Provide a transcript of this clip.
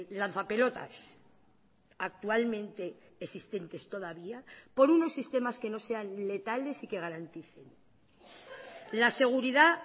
lanzapelotas actualmente existentes todavía por unos sistemas que no sean letales y que garanticen la seguridad